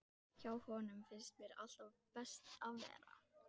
Mér dugðu saklausu púðarnir í Stígamótum!